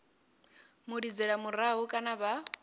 mu lidzela murahu kana vha